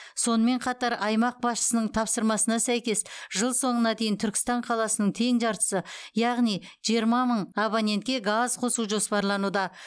сонымен қатар аймақ басшысының тапсырмасына сәйкес жыл соңына дейін түркістан қаласының тең жартысы яғни жиырма мың абонентке газ қосу жоспарлануда